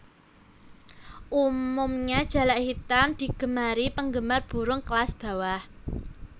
Umumnya jalak hitam digemari penggemar burung kelas bawah